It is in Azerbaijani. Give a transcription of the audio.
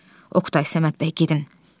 Oqtay, Səməd bəy gedin.